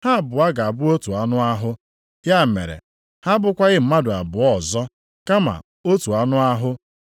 Ha abụọ ga-abụ otu anụ ahụ.’ + 10:8 \+xt Jen 2:24\+xt* Ya mere, ha abụkwaghị mmadụ abụọ ọzọ, kama otu anụ ahụ.